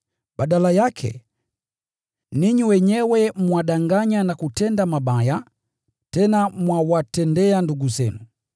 Badala yake, ninyi wenyewe mwadanganya na kutenda mabaya, tena mwawatendea ndugu zenu.